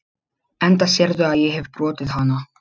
Enda sérðu að ég hefi brotið hana.